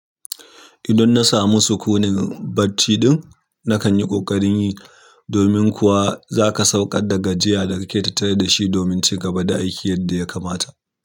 Idan na samu sukunin bacci ɗin, na kan yi ƙoƙarin yi, domin kuwa zaka sauƙar da gajiya da kake tattare da shi domin cigaba da aiki yadda ya kamata.